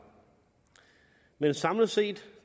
men samlet set